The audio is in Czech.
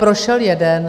Prošel jeden.